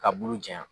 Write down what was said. Ka bulu jan janya